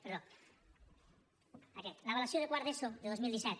perdó aquest l’avaluació de quart d’eso de dos mil disset